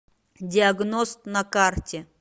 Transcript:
диагност на карте